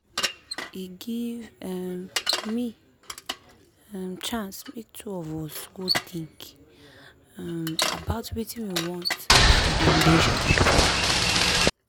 he give um me um chance make two of us go think um about wetin we want for the relationship.